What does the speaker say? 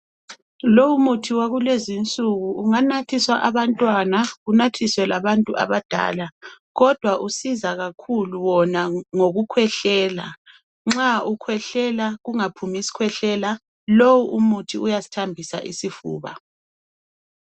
Lowumuthi wakulezinsuku unganathiswa abantwana unathiswe labantu abadala kodwa usiza kakhulu wona ngokukhwehlela nxa ukhwehlela ungaphumi skhwehlela lo muthi uyasithambisa isifuba